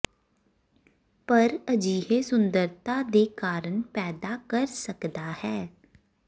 ਪਰ ਅਜਿਹੇ ਸੁੰਦਰਤਾ ਦੇ ਕਾਰਣ ਪੈਦਾ ਕਰ ਸਕਦਾ ਹੈ